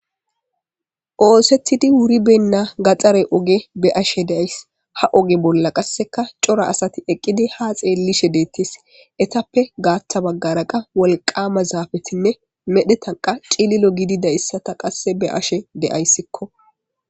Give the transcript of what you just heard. Oosetidi wuri benna gaxare oge be ashe deays ha oge bolla qasseka cora asati eqqidi ha xeellishe deettis etappe gaattha baggaraqa wolqama zaafetinne medhetanqa cililo gidida issata qasse be ashe deayssikko.